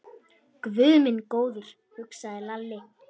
Guð minn góður, hugsaði Lalli.